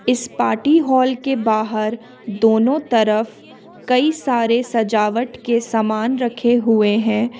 इस party hall के बाहर दोनों तरफ कई सारे सजावट के सामान रखे हुए हैं।